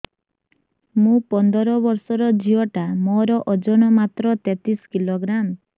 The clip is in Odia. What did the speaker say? ମୁ ପନ୍ଦର ବର୍ଷ ର ଝିଅ ଟା ମୋର ଓଜନ ମାତ୍ର ତେତିଶ କିଲୋଗ୍ରାମ